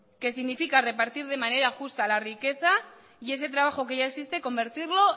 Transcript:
que significa repartir de manera justa la riqueza y ese trabajo que ya existe convertirlo